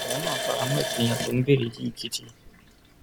òun náà fara mọ ìpínyà tó ń béèrè yìí gidi